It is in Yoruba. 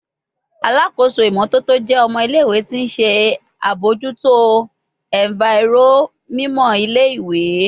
Alakoso imototo jẹ ọmọ ile-iwe ti o nṣe abojuto enviro mimọ ile-iwe